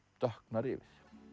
dökknar yfir